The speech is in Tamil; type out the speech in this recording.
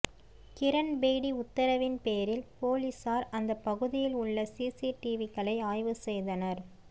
கிரண்பேடி உத்தரவின் பேரில் போலீசார் அந்தப் பகுதியில் உள்ள சிசிடிவிக்களை ஆய்வு செய்தனர்